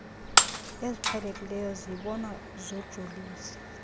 eziqhelekileyo zibonwa zojolise